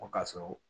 O ka sɔrɔ